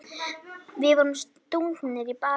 Við vorum stungnir í bakið.